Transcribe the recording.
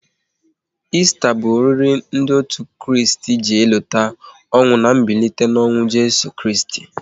Esta bụ oriri ndị otu Kristi ji elota ọnwụ na mbilite n'ọnwụ Jeso Kristi